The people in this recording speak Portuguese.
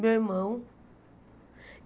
Meu irmão.